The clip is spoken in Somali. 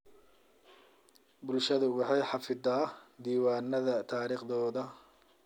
Bulshadu waxay xafisataa diiwaannada taariikhdooda.